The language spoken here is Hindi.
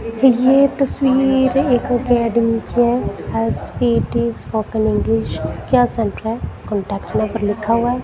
ये तस्वीर एक अकेडमी की है इ स्पीक इस स्पोकन इंग्लिश कांटेक्ट नंबर लिखा हुआ--